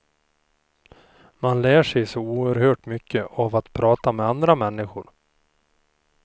Man lär sig så oerhört mycket av att prata med andra människor.